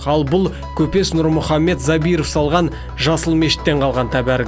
ал бұл көпес нұрмұхамет забиров салған жасыл мешіттен қалған тәбәрік